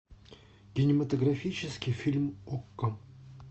кинематографический фильм окко